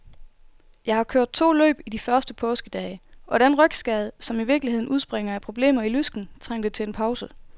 Jeg har kørt to løb i de første påskedage, og den rygskade, som i virkeligheden udspringer af problemer i lysken, trængte til en pause.